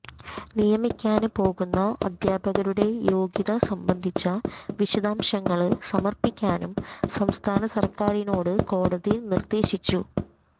നിയമിക്കാന് പോകുന്ന അധ്യാപകരുടെ യോഗ്യത സംബന്ധിച്ച വിശദാംശങ്ങള് സമര്പ്പിക്കാനും സംസ്ഥാന സര്ക്കാറിനോട് കോടതി നിര്ദേശിച്ചു